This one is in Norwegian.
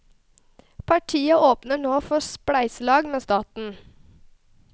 Partiet åpner nå for spleiselag med staten.